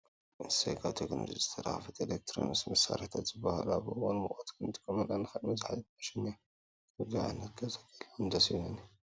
እሰይ! ካብ ቴክኖሎጂ ዝተረከበት ኤሌክትሮኒክስ መሳረሒታት ዝብሃሉ ኣብ እዋን ሙቀት ክንጥቀመላ እንክእል መዘሓሊት ማሽን እያ። ከምዙይ ዓይነት ኣብ ገዛይ ህልወኒ ደስ ይብለኒ።